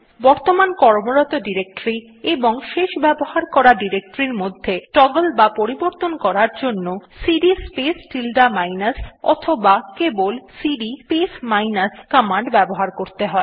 বর্তমান কর্মরত ডিরেক্টরী এবং শেষ ব্যবহার করা ডিরেক্টরী মধ্যে টগল বা পরিবর্তন করার জন্য সিডি স্পেস টিল্ডে মাইনাস অথবা কেবল সিডি স্পেস মাইনাস কমান্ড ব্যবহার করতে হয়